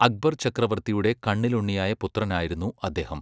അക്ബർ ചക്രവർത്തിയുടെ കണ്ണിലുണ്ണിയായ പുത്രനായിരുന്നു അദ്ദേഹം.